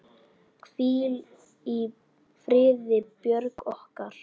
Hvíl í friði, Björg okkar.